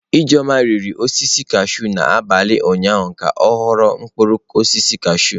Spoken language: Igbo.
Ijeoma rigoro osisi kashụụ n'abalị ụnyaahụ ka ọ ghọ mkpụrụ osisi kashụụ.